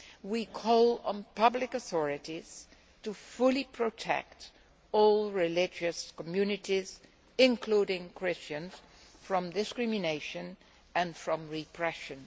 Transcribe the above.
We call on public authorities to fully protect all religious communities, including Christians, from discrimination and from repression.